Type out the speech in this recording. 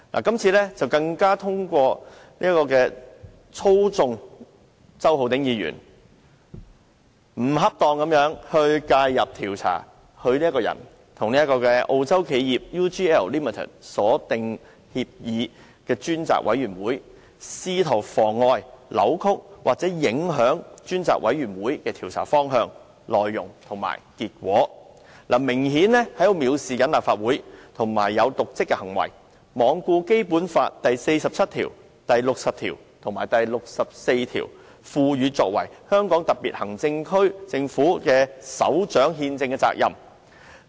今次更透過操縱周浩鼎議員，不恰當地介入調查他本人與澳洲企業 UGL Limited 所訂協議的專責委員會，試圖妨礙、扭曲或影響專責委員會的調查方向、內容及結果，明顯是藐視立法會，以瀆職行為，罔顧《基本法》第四十七條、第六十條及第六十四條賦予其作為香港特別行政區政府的首長的憲制責任。